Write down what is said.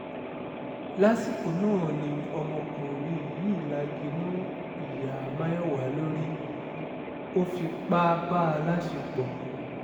lásìkò náà ni ọmọkùnrin yìí lagi mọ́ ìyá mayowa lórí ó fipá bá a láṣẹ́pọ̀